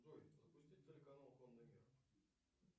джой запусти телеканал конный мир